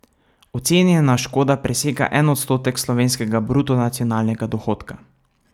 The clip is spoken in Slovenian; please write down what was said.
Ocenjena škoda presega en odstotek slovenskega bruto nacionalnega dohodka.